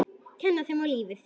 Kenna þeim á lífið.